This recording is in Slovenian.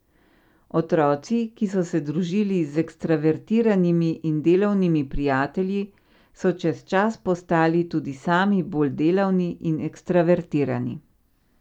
Otroci, ki so se družili z ekstravertiranimi in delavnimi prijatelji, so čez čas postali tudi sami bolj delavni in ekstravertirani.